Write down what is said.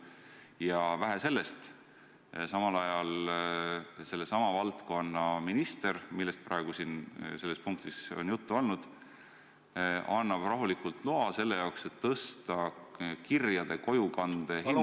Ja vähe sellest, samal ajal sellesama valdkonna minister, millest praegu selles punktis on juttu olnud, annab rahulikult loa tõsta kirjade kojukande hinda ...